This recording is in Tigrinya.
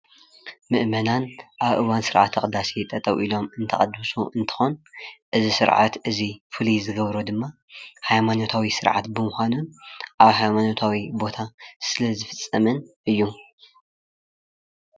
ምእመናን ኣብ እዋን ስርዓት ቅዳሰ ጠጠው ኢሎም እንትቅድሱ እንትኾን እዚ ስርዓት እዚ ፍልይ ዝገብሮ ድማ ሃይማኖታዊ ስርዓት ብምዃኑን ኣብ ሃይማነታዊ ቦታ ስለ ዝፍፀምን እዩ።